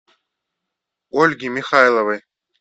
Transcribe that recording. ольге михайловой